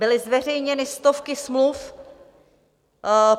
Byly zveřejněny stovky smluv.